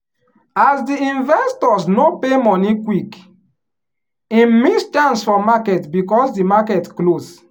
as di investors no pay money quickhim miss chance for marketbecause di market close.